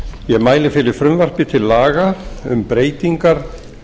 ég mæli fyrir frumvarpi til laga um breytingar